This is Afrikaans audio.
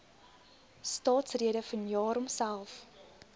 staatsrede vanjaar homself